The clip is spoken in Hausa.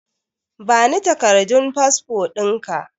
Bani takardun fasfo ɗinka